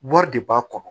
Wari de b'a kɔnɔ